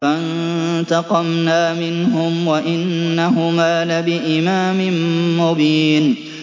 فَانتَقَمْنَا مِنْهُمْ وَإِنَّهُمَا لَبِإِمَامٍ مُّبِينٍ